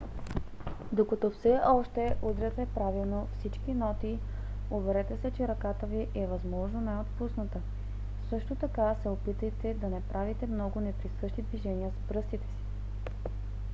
докато все още удряте правилно всички ноти уверете се че ръката ви е възможно най - отпусната; също така се опитайте да не правите много неприсъщи движения с пръстите си